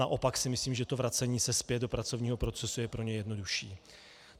Naopak si myslím, že to vracení se zpět do pracovního procesu je pro ně jednodušší.